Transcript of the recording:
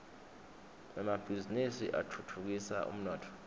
emabhizinisi atfutfukisa umnotfo